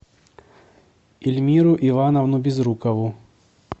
ильмиру ивановну безрукову